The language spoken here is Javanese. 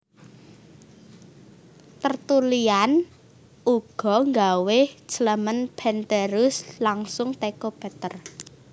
Tertullian ugo nggawe Clement penterus langsung teko Peter